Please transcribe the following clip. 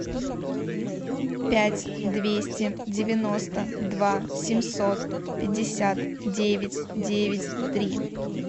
пять двести девяносто два семьсот пятьдесят девять девять три